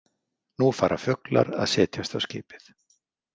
Nú fara fuglar að setjast á skipið.